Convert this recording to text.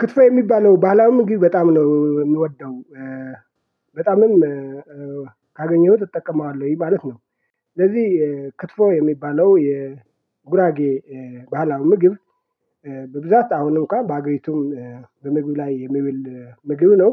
ክትፎ የሚባለው ባህላዊ ምግብ በጣም ነው የምወደው በጣምም ካገኘሁት እጠቀመዋለሁ ይህ ማለት ነው። ስለዚህ ክትፎ የሚባለው የጉራጌ ባህላዊ ምግብ በብዛት አሁንም እኮ በአገሪቱም በምግብ ላይ የመብል ምግብ ነው።